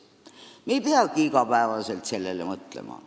Me ei peagi iga päev sellele mõtlema.